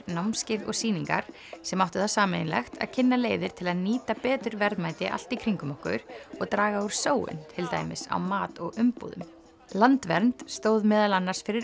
námskeið og sýningar sem áttu það sameiginlegt að kynna leiðir til að nýta betur verðmæti allt í kringum okkur og draga úr sóun til dæmis á mat og umbúðum landvernd stóð meðal annars fyrir